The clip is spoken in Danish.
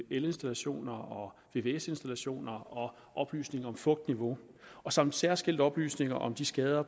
elinstallationer vvs installationer og oplysning om fugtniveau samt særskilt oplysning om de skader